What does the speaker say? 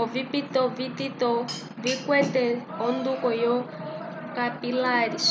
ovipito vitito vikwete onduko yo capilares